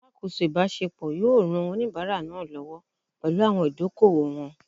Alakoso ibasepo yoo ran onibara naa lowo pelu awon idoko-owo won